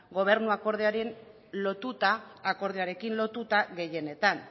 gobernuak ordearen lotuta akordioarekin lotuta gehienetan